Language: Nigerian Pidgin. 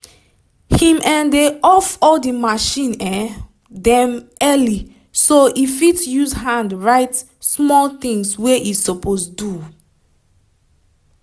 him um dey off all the machine um dem early so e fit use hand write small things wey e suppose do